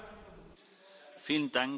Vielen Dank, Herr Kollege.